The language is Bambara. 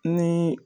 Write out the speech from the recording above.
Ni